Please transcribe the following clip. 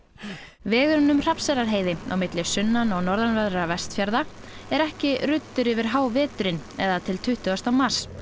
vegurinn um Hrafnseyrarheiði á milli sunnan og norðanverðra Vestfjarða er ekki ruddur yfir háveturinn eða til tuttugasta mars